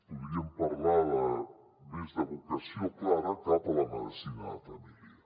podríem parlar més de vocació clara cap a la medicina de família